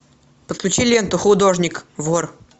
подключи ленту художник вор